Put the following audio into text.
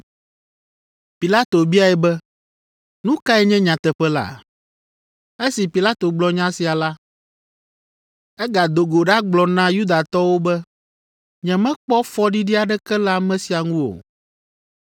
Pilato biae be, “Nu kae nye nyateƒe la?” Esi Pilato gblɔ nya sia la, egado go ɖagblɔ na Yudatɔwo be, “Nyemekpɔ fɔɖiɖi aɖeke le ame sia ŋu o.